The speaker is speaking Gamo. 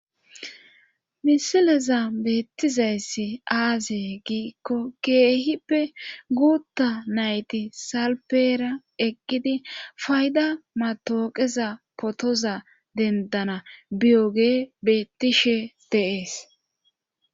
misileza beettizayssi aaze giikko keehippe guutta nayti salpera eqqidi fayda matawaqaza potoza dendana biyoge beettishe deees